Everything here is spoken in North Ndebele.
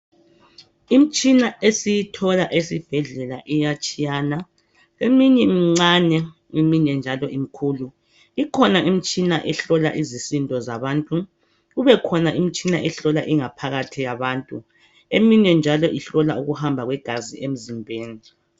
Imtshina esiyithola esibhedlela iyatshiyana. Eminye mncane, eminye njalo mikhulu. Ikhona imitshina ehlola izisindo zabantu, kube khona imitshina ehlola ingaphakathi yabantu, eminye ihlola ukuhamva kwegazi emzimbeni.